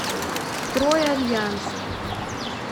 стройальянс